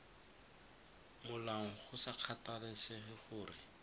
molaong go sa kgathalesege gore